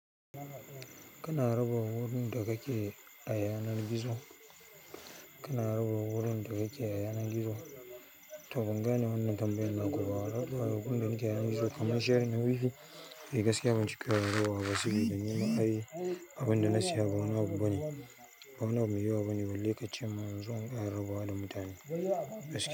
Kina raba wurin da kake a yanar gizo? To bangane wannan tambayar naku ba raba abubuwan da nake a yanar gizo, kamar sharing a wifi. Eh gaskiya ban cika rarrabawa ba, saboda nima ai abin da na saya ba wani abu bane. Ba wani abu mai yawa bane, balle ka ce mun inzo in rarrabawa da mutane gaskiya.